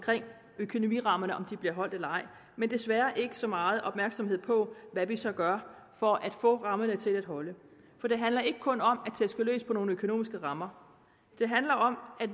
økonomirammerne bliver holdt eller ej men desværre ikke så meget opmærksomhed på hvad vi så gør for at få rammerne til at holde for det handler ikke kun om at tæske løs på nogle økonomiske rammer det handler om at